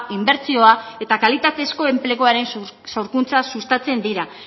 inbertsioa eta kalitatezko enpleguaren sorkuntza sustatzen dira